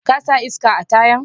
Ka sa iska a tayan?